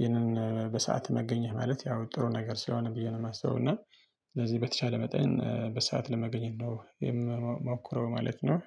ይህንን በሰአት መገኘት ማለት ያው ጥሩ ነገር ሲሆን ብዬ ነው የማስበው። እና ስለዚህ በተቻለ መጠን በሰአት ለመገኘት ነው የምሞክረው ማለት ነው።